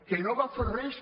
que no va fer res